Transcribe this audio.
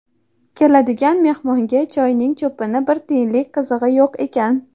Keladigan mehmonga choyni cho‘pini bir tiyinlik qizig‘i yo‘q ekan.